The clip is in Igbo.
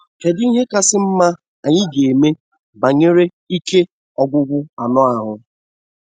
Kedụ ihe kasị mma anyị ga eme banyere ike ọgwụgwụ anụ ahụ́?